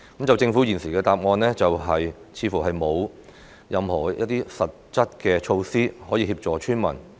政府現時的答覆，似乎是說沒有任何實質的措施可以協助村民。